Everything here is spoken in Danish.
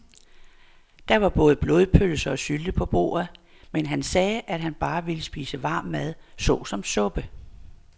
Der var både blodpølse og sylte på bordet, men han sagde, at han bare ville spise varm mad såsom suppe.